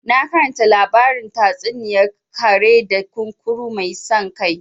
Na karanta labarin tatsuniyar kare da kunkuru mai san kai